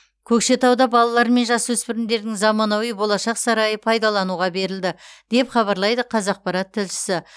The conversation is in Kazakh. көкшетауда балалар мен жасөспірімдердің заманауи болашақ сарайы пайдалануға берілді деп хабарлайды қазақпарат тілшісі